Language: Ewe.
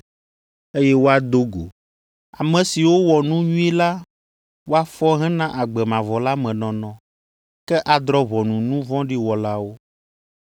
eye woado go, ame siwo wɔ nu nyui la woafɔ hena agbe mavɔ la me nɔnɔ, ke adrɔ̃ ʋɔnu nu vɔ̃ɖi wɔlawo.